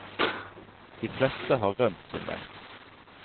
De fleste har rømt sin vei.